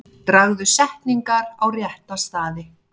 Dragðu setningar á rétta staði.